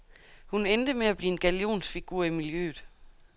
Hun endte med at blive en gallionsfigur i miljøet.